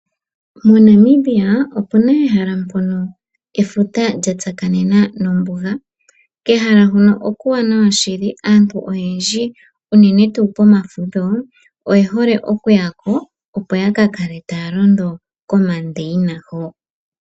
Mo Namibia opuna ehala mpono efuta lya tsakanena nombuga, kehala hono okuuwanawa shili. Aantu oyendji unene tuu pomafudho, oye hole oku yako opo yaka kale taya londo ko mandeyina ho.